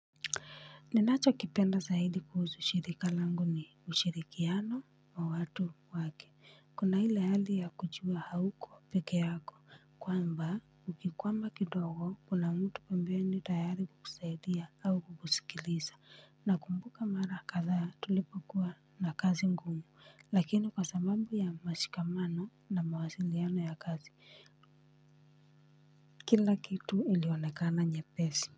Ninacho kipenda zaidi kuhusu shirika langu ni ushirikiano wa watu wake. Kuna ile hali ya kujuwa hauko pekee yako. Kwamba, ukikwama kidogo, kuna mtu pembeni tayari kukusaidia au kukusikiliza. Na kumbuka mara kadha tulipo kuwa na kazi ngumu. Lakini kwa sababu ya mashikamano na mawasiliano ya kazi. Kila kitu ilionekana nyepesi.